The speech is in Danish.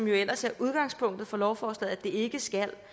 jo ellers er udgangspunktet for lovforslaget at det ikke skal